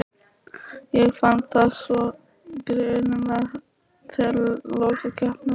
Ég fann það svo greinilega þegar lokakeppnin var.